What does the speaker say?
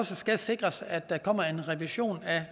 skal sikres at der kommer en revision af